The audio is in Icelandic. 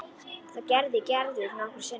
Það gerir Gerður nokkrum sinnum.